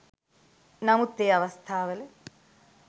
නමුත් ඒ අවස්ථාවල